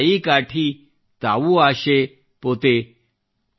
ದಿಯ ಶಲಾಯಿ ಕಾಠೀ ತಾವು ಆಶೇ ಪೋತೆ